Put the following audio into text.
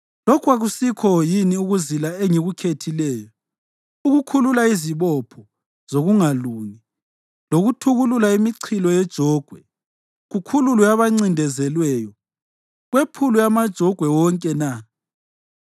Lokhu akusikho yini ukuzila engikukhethileyo: ukukhulula izibopho zokungalungi lokuthukulula imichilo yejogwe, kukhululwe abancindezelweyo, kwephulwe amajogwe wonke na?